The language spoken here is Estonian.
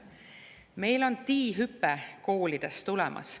Meil on TI-hüpe koolides tulemas.